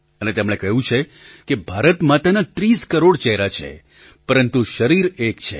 અને તેમણે કહ્યું છે કે ભારત માતાના ૩૦ કરોડ ચહેરા છે પરંતુ શરીર એક છે